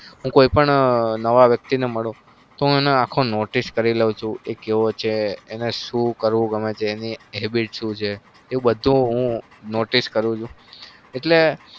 હું કોઈ પણ નવા વ્યક્તિને મળું તો હું એને આખો notise કરી લઉં છુ. એ કેવો છે એ ન શું કરવું ગમે છે. એની habbit શું છે.